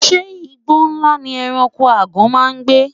Inú igbó ńlá ni ẹranko ègàn máa ń gbé.